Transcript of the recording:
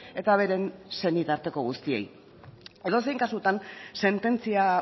eta beren senitarteko guztiei edozein kasutan sententzia